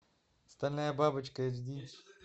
стальная бабочка эйч ди